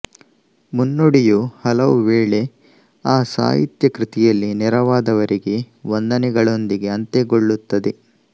ಮುನ್ನುಡಿಯು ಹಲವುವೇಳೆ ಆ ಸಾಹಿತ್ಯ ಕೃತಿಯಲ್ಲಿ ನೆರವಾದವರಿಗೆ ವಂದನೆಗಳೊಂದಿಗೆ ಅಂತ್ಯಗೊಳ್ಳುತ್ತದೆ